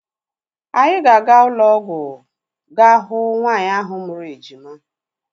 Anyị ga-aga ụlọọgwụ ga hụ nwaanyị ahụ mụrụ ejima.